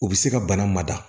U bɛ se ka bana mada